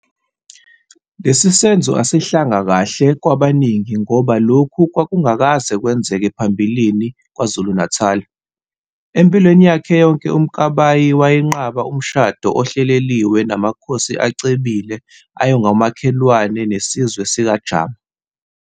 Lesi senzo asehlanga kahla kwabaningi ngoba lokhu kwakungakaze kwenzeke ngaphambilini kwaZulu. Empilweni yakhe yonke uMkabayi wayenqaba umshade ohleleliwe namakhosi acebile ayengomakhelwane nesizwe sikaJama.